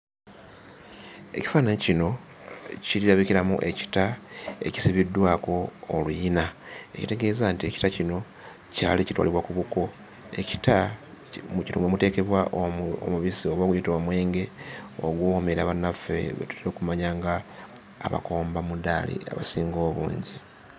Ekifaananyi kino kirabikiramu ekita ekisibiddwako oluyina, ekitegeeza nti ekita kino kyali kitwalibwa ku buko. Ekita mwe muteekebwa omubisi oba guyite omwenge oguwoomera bannaffe be tutera okumanya ng'abakombamudaali, abasinga obungi.